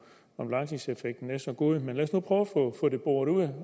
om langtidseffekten er så god men lad os nu prøve at få det boret ud